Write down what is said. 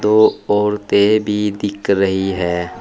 दो औरतें भी दिख रही है।